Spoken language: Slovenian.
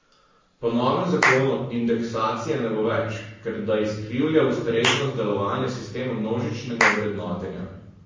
Po novem zakonu indeksacije ne bo več, ker da izkrivlja ustreznost delovanja sistema množičnega vrednotenja.